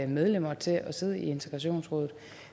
medlemmer til at sidde i integrationsrådet